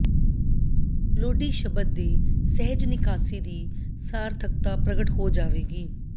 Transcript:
ਲੋਹਡੀ ਸ਼ਬਦ ਦੇ ਸਹਿਜ ਨਿਕਾਸੀ ਦੀ ਸਾਰਥਕਤਾ ਪ੍ਰਗਟ ਹੋ ਜਾਵੇਗੀ